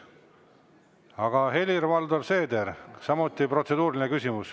Aga Helir-Valdor Seeder, samuti protseduuriline küsimus.